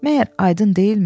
Məgər aydın deyilmi?